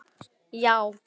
já